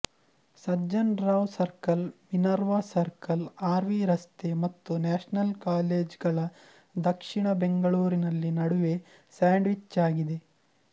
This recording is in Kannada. Sajjan Rao circle Minerva circle R V ರಸ್ತೆ ಮತ್ತು ನ್ಯಾಷನಲ್ ಕಾಲೇಜ್ಗಲ ದಕ್ಷಿಣ ಬೆಂಗಳೂರಿನಲ್ಲಿ ನಡುವೆ ಸ್ಯಾಂಡ್ವಿಚ್ಯಾಗಿದ್ದೆ